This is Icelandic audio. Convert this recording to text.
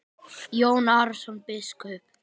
Jón Arason biskup